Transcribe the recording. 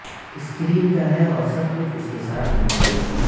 screen کا ہے اور سب کچھ اس کے ساتھ منسلک